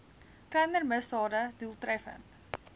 kleiner misdade doeltreffend